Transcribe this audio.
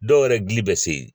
Dɔw yɛrɛ dili bɛ se yen.